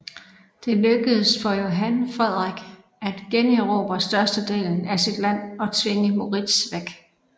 Det lykkedes for Johan Frederik at generobre størstedelen af sit land og tvinge Moritz væk